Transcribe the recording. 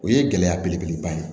O ye gɛlɛya belebele ba ye